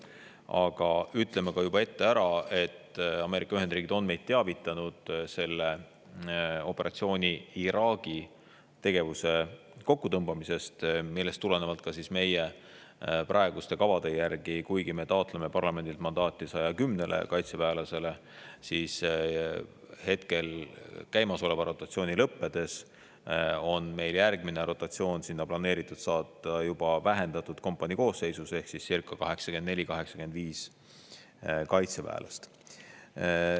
Aga ütlen juba ette ära, et Ameerika Ühendriigid on meid teavitanud selle operatsiooni tegevuse kokkutõmbamisest Iraagis, millest tulenevalt meie praeguste kavade järgi, kuigi me taotleme parlamendilt mandaati 110 kaitseväelasele, on käimasoleva rotatsiooni lõppedes järgmise rotatsiooni korras sinna planeeritud saata vähendatud kompanii ehk circa 84–85 kaitseväelast.